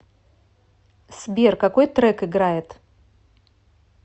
сбер какой трек играет